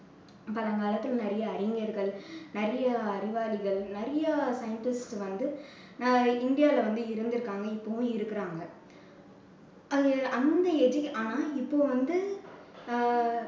பழங்காலத்துல நிறைய அறிஞர்கள், நிறைய அறிவாளிகள், நிறைய scientist வந்து இந்தியால வந்து இருந்திருக்காங்க இப்போவும் இருக்கறாங்க. அது~ அந்த education ஆனா இப்போ வந்து